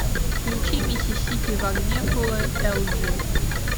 включи миссисипи в огне фул эл джи